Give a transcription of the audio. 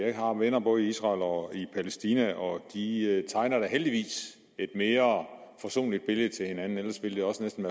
jeg har venner både i israel og i palæstina og de tegner da heldigvis et mere forsonligt billede til hinanden ellers vil det også næsten